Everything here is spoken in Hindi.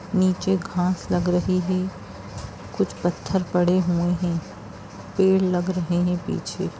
नीचे घास लग रही है। कुछ पत्थर पड़े हुए हैं। पेड़ लग रहे है पीछे।